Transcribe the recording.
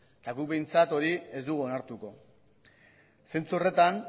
eta gu behintzat hori ez dugu onartuko zentzu horretan